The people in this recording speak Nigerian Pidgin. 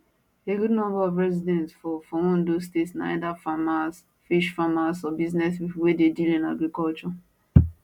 a good number of residents for for ondo state na either farmers fish farmers or business pipo wey dey deal in agriculture